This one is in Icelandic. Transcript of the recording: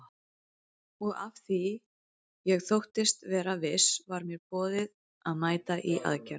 Og af því ég þóttist vera viss var mér boðið að mæta í aðgerð.